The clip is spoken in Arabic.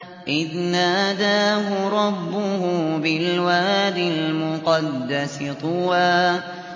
إِذْ نَادَاهُ رَبُّهُ بِالْوَادِ الْمُقَدَّسِ طُوًى